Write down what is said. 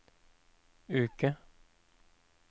uke